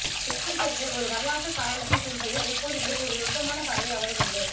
இலக்கியத்திற்கு ஒரு வரலாற்றுக்காரணத்தைச் சொல்வதில் எப்போதுமெ ஒரு நுட்பமான பார்வை அவருக்குண்டு